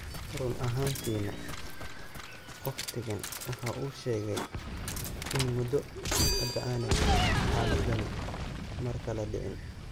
Run ahaantiina wakhtigan waxa uu sheegay in muddo hadda aanay xaaladdani mar kale dhicin.